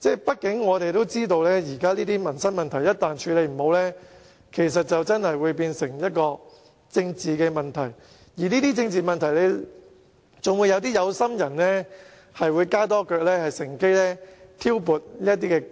畢竟，大家也知道，現時這些民生問題如果無法妥善處理，便會變成政治問題，還會被一些"有心人"乘機挑撥離間。